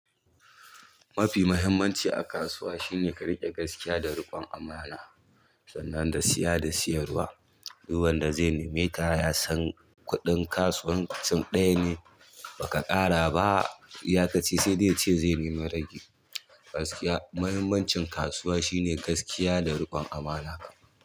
Mafi muhimmanci a kasuwa shine ka riƙe gaskiya da riƙon amana. Sannan da siya da siyarwa, duk wanda zai nemeka ya san kuɗin kasuwancin ɗaya ne ba ka ƙara ba. Iyakaci sai dai ya ce zai nemi ragi. Gaskiya, muhimmancin kasuwa shine gaskiya da riƙon amana.